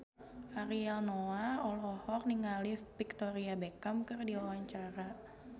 Ariel Noah olohok ningali Victoria Beckham keur diwawancara